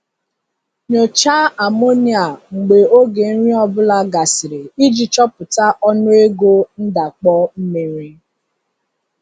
Nyochaa amonia mgbe oge nri ọ bụla gasịrị iji chọpụta ọnụego ndakpọ mmiri.